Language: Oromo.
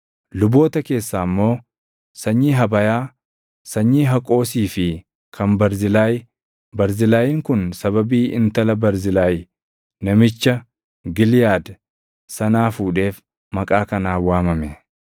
Luboota keessaa immoo: Sanyii Habayaa, sanyii Haqoosii fi kan Barzilaay; Barzilaayiin kun sababii intala Barzilaay namicha Giliʼaad sanaa fuudheef maqaa kanaan waamame.